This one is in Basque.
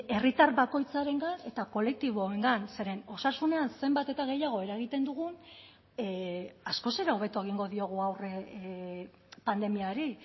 herritar bakoitzarengan eta kolektiboengan zeren osasunean zenbat eta gehiago eragiten dugun askoz ere hobeto egingo diogu aurre pandemiari